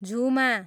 झुमा